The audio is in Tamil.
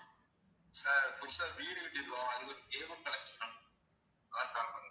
sir புதுசா வீடு கட்டிருக்கோம் அதுக்கு cableconnection வேணும் அதான் call பண்ணேன்